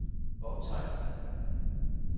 optegn